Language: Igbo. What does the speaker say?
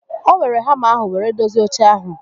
O weere hama ahụ were dozie oche ahụ